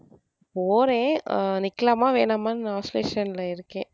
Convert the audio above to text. போறேன் அஹ் நிக்கலாமா வேணாமான்னு oscillation ல இருக்கேன்.